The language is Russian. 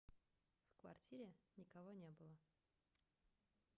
в квартире никого не было